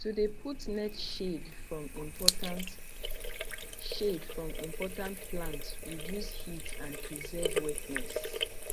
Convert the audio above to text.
to de put net shade from important shade from important plant reduce heat and preserve wetness